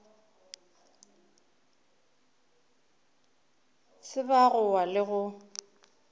tseba go wa le go